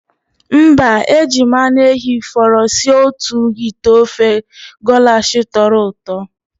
Mba, e jiri m anụ ehi fọrọ sie otu ite ofe golash tọrọ ụtọ.